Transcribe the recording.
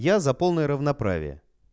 я за полное равноправие